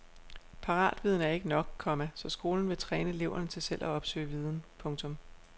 Paratviden er ikke nok, komma så skolen vil træne eleverne til selv at opsøge viden. punktum